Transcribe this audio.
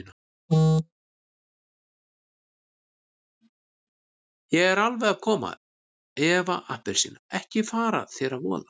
Ég er alveg að koma Eva appelsína, ekki fara þér að voða.